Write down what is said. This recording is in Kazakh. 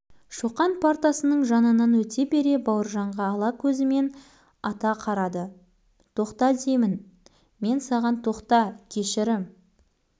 шоқанның шегір көзі шот қабағын жарып шығып барады ызаға булығып өңі түтігіп кеткен